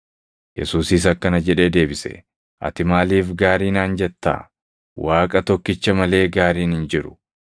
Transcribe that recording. Yesuusis akkana jedhee deebise; “Ati maaliif gaarii naan jetta? Waaqa tokkicha malee gaariin hin jiru.